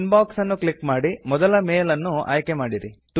inbox ಅನ್ನು click ಮಾಡಿ ಮೊದಲ ಮೆಲ್ ಅನ್ನ್ನು ಆಯ್ಕೆ ಮಾಡಿರಿ